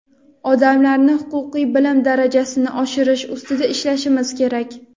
odamlarni huquqiy bilim darajasini oshirish ustida ishlashimiz kerak.